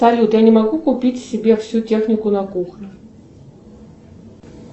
салют я не могу купить себе всю технику на кухню